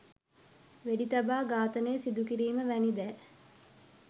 වෙඩිතබා ඝාතනය සිදුකිරීම වැනි දෑ